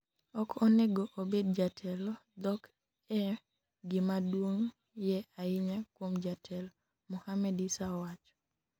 ok onego obed jatelo, dhok e gimaduong' ye ahinya kuom jatelo,' Mohamed Issa owacho